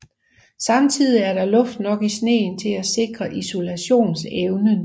Samtidig er der luft nok i sneen til at sikre isoleringsevnen